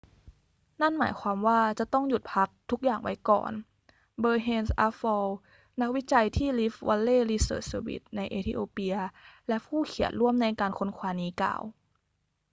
นั่นหมายความว่าจะต้องหยุดพักทุกอย่างไว้ก่อน berhane asfaw นักวิจัยที่ rift vally research service ในเอธิโอเปียและผู้เขียนร่วมในการค้นคว้านี้กล่าว